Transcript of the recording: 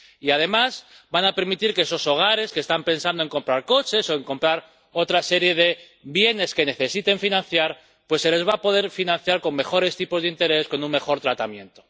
Además van a permitir que, a esos hogares que están pensando en comprar coches o en comprar otra serie de bienes que necesiten financiar, se les pueda financiar con mejores tipos de interés, con un mejor tratamiento.